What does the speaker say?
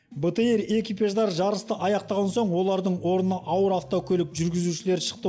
бтр экипаждары жарысты аяқтаған соң олардың орнына ауыр автокөлік жүргізушілері шықты